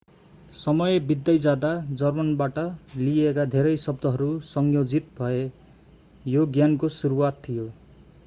समय बित्दै जाँदा जर्मनबाट लिइएका धेरै शब्दहरू संयोजित भए यो ज्ञानको सुरुवात थियो